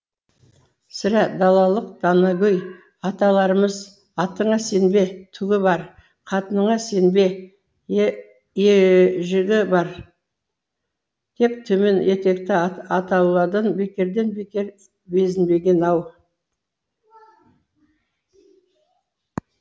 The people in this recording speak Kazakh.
сірә далалық данагөй аталарымыз атыңа сенбе түгі бар қатыныңа сенбе жігі бар деп төмен етекті атаулыдан бекерден бекер безінбеген ау